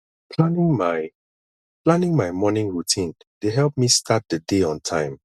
planning my planning my morning routine dey help me start the day on time